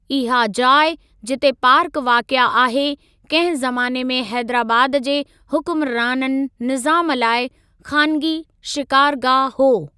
इहा जाइ जिते पार्क वाक़िए आहे, कंहिं ज़माने में हैदराबाद जे हुक्मराननि निज़ामु लाइ ख़ानिगी शिकारगाह हो।